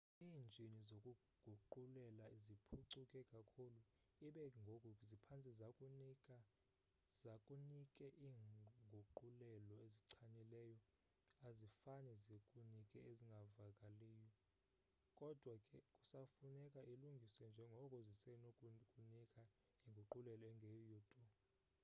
iinjini zokuguqulela ziphucuke kakhulu ibe ngoku ziphantse zikunike iinguqulelo ezichanileyo azifane zikunike ezingavakaliyo kodwa ke kusafuneka ilungiswe njengoko zizesenokukunika inguqulelo engeyiyo tu